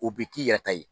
U bɛ k'i yɛrɛ ta ye